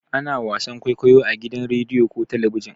Ana wasan kwaikwayo a gidajen rediyo ko talabijin.